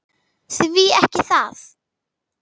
Því ekki það.